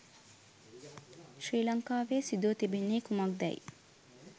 ශ්‍රී ලංකාවේ සිදුව තිබෙන්නේ කුමක් දැයි